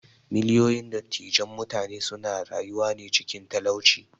Miliyoyin dattijan mutane suna rayuwane cikin talauci.